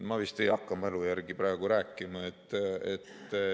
Ma vist ei hakka mälu järgi praegu rääkima.